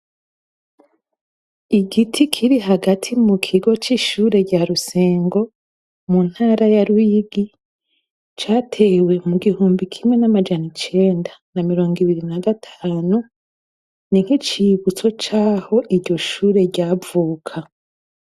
Igiti kiri hagati mukigo c'ishure rya Rusengo, mu ntara ya Ruyigi, catewe mu gihumbi kimwe n'amajana icenda na miringo ibiri na gatanu, ni nk'icibutso caho iryo shure ryavuka.